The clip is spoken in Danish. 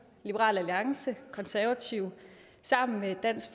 liberal alliance og konservative sammen med dansk